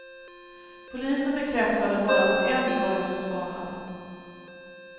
Polisen bekräftade bara att en var efterspanad.